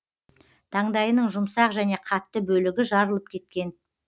таңдайының жұмсақ және қатты бөлігі жарылып кеткен